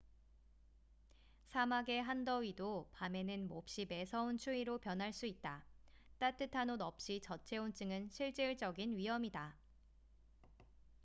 사막의 한더위도 밤에는 몹시 매서운 추위로 변할 수 있다 따뜻한 옷 없이 저체온증은 실질적인 위험이다